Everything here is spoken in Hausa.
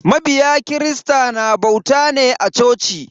Mabiya kirista na bauta ne a coci.